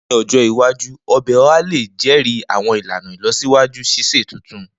Ni ojo iwaju, ọbẹ Oha le jẹri awọn ilana ilọsiwaju sise tuntun.